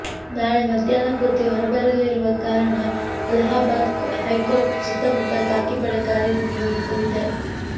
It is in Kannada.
ನಾಳೆ ಮಧ್ಯಾಹ್ನ ತೀರ್ಪು ಹೊರಬರಲಿರುವ ಕಾರಣ ಅಲಹಾಬಾದ್ ಹೈಕೋರ್ಟ್ ಸುತ್ತಮುತ್ತ ಖಾಕಿ ಪಡೆ ಕಾರ್ಯನಿರ್ವಸಲಿದೆ